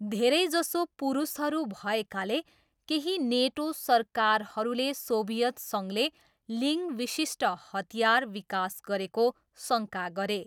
धेरैजसो पुरुषहरू भएकाले, केही नेटो सरकारहरूले सोभियत सङ्घले लिङ विशिष्ट हतियार विकास गरेको शङ्का गरे।